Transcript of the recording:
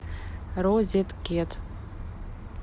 розеткет